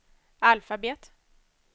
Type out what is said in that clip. alfabet